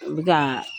U bɛ ka